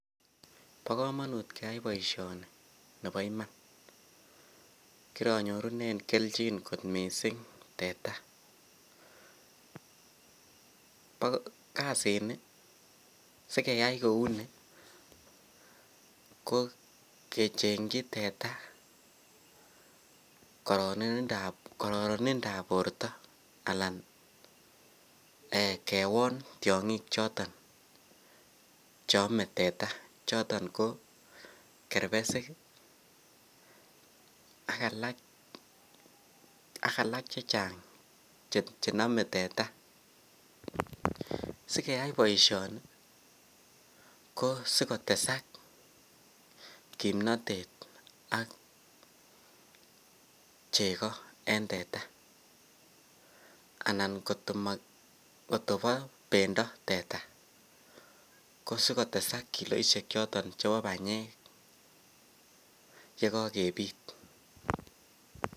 Bokomonut keyai boishoni neboiman, kironyorunen kelchin kot mising teta, kasini sikeyai kouni ko kechengyi teta kororonindab borto anan kewon tiong'ik cheome teta choton ko kerbesik ak alaak chechang chenome teta, sikeyai boishoni ko sikotesak kimnotet ak chekoo en teta anan kotobo bendo teta kosikotesak kiloishek choton chebo banyek yekokebut.